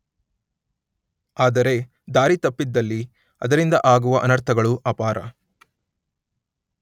ಆದರೆ ದಾರಿತಪ್ಪಿದಲ್ಲಿ ಅದರಿಂದ ಆಗುವ ಅನರ್ಥಗಳು ಅಪಾರ.